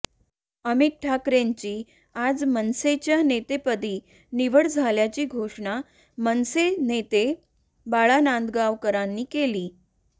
अमित ठाकरेंची आज मनसेच्या नेतेपदी निवड झाल्याची घोषणा मनसे नेते बाळा नांदगावकरांनी केली